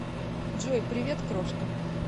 джой привет крошка